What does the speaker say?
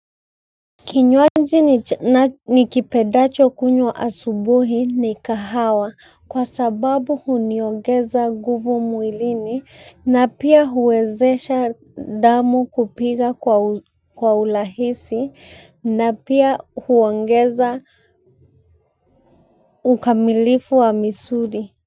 Kinywaji nikipendacho kunywa asubuhi ni kahawa, kwa sababu huniongeza nguvu mwili na pia huwezesha damu kupiga kwa urahisi na pia huongeza ukamilifu wa misuli.